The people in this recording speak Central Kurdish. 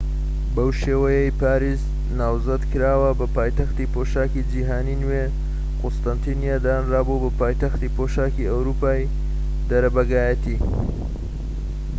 بەو شێوەیەی پاریس ناوزەند کراوە بە پایتەختی پۆشاكی جیهانی نوێ قوستەنتینیە دانرابوو بە پایتەختی پۆشاکی ئەوروپای دەرەبەگایەتی